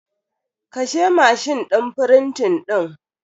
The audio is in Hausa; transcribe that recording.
Kashe mashin din frintin din.